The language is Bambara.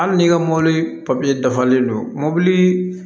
Hali n'i ka mɔbili papiye dafalen don mɔbili